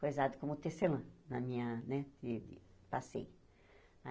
Coisado como Tecelã, na minha, né, e passei.